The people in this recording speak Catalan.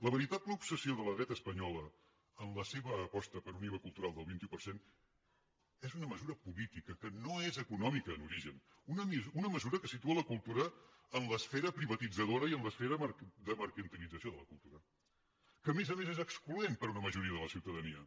la veritable obsessió de la dreta espanyola en la seva aposta per un iva cultural del vint un per cent és una me sura política que no és econòmica en origen una mesura que situa la cultura en l’esfera privatitzadora i en l’esfera de mercantilització de la cultura que a més a més és excloent per a una majoria de la ciutadania